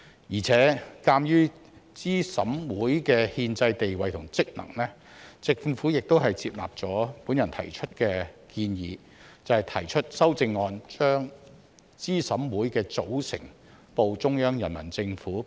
而且，鑒於資審會的憲制地位和職能，政府亦接納了我的建議，提出修正案把資審會的組成報中央人民政府備案。